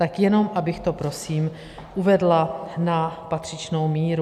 Tak jenom abych to prosím uvedla na patřičnou míru.